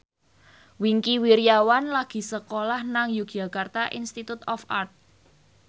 Wingky Wiryawan lagi sekolah nang Yogyakarta Institute of Art